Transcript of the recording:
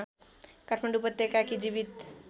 काठमाडौँ उपत्यकाकी जीवित